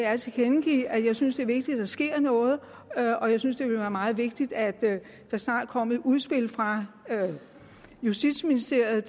at tilkendegive at jeg synes det er vigtigt at der sker noget og jeg synes det vil være meget vigtigt at der snart kom et udspil fra justitsministeriet